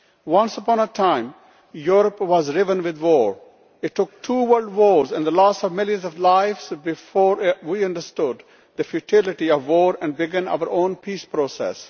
Once upon a time, Europe was riven with war it took two World Wars and the loss of millions of lives before we understood the futility of war and began our own peace process.